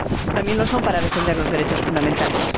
también lo son para defender los derechos fundamentales.